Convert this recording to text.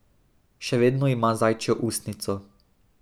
Še vedno ima zajčjo ustnico.